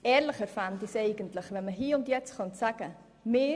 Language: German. Ehrlicher fände ich es eigentlich, wenn man hier und jetzt sagen könnte: